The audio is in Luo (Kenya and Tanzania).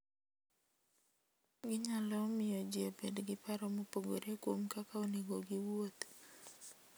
Ginyalo miyo ji obed gi paro mopogore kuom kaka onego giwuoth.